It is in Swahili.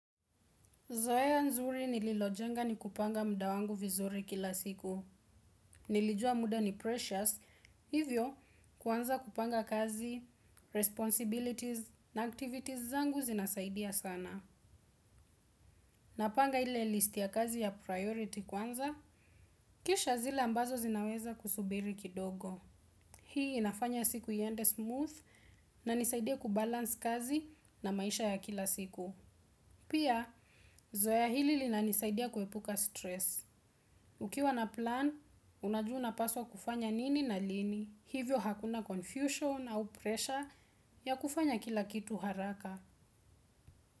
Zohea nzuri nililo jenga ni kupanga mda wangu vizuri kila siku. Nilijua muda ni precious, hivyo kwanza kupanga kazi, responsibilities na activities zangu zinasaidia sana. Napanga hile list ya kazi ya priority kwanza kisha ile inaweza subiri kidogo. Hii inafanya siku yende smooth na nisaidia kubalance kazi na maisha ya kila siku. Pia, zoya hili linanisaidia kuepuka stress. Ukiwa na plan, unajuna upaswa kufanya nini na lini, hivyo hakuna confusion au pressure ya kufanya kila kitu haraka.